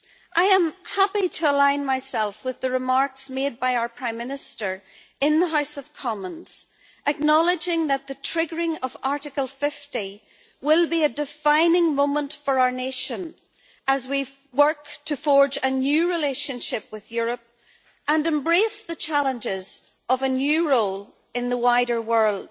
I am happy to align myself with the remarks made by our Prime Minister in the House of Commons, acknowledging that the triggering of Article 50 will be a defining moment for our nation as we work to forge a new relationship with Europe and embrace the challenges of a new role in the wider world.